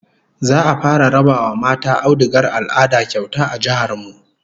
Za'a fara raba wa mata audugar al'ada kyauta a jihar mu